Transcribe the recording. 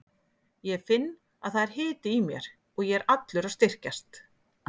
Ég finn að það er hiti í mér og ég er allur að styrkjast.